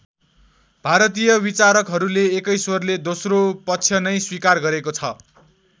भारतीय विचारकहरूले एकै स्वरले दोस्रो पक्ष नै स्वीकार गरेको छ।